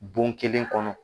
Bon kelen kɔnɔ.